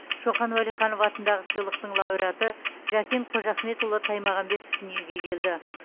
шоқан уәлиханов атындағы сыйлықтың лауреаты жәкен қожахметұлы таймағанбетов дүниеге келді